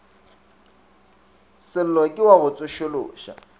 sello ke wa go tsošološa